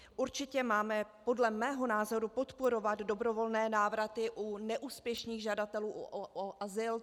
Určitě máme podle mého názoru podporovat dobrovolné návraty u neúspěšných žadatelů o azyl.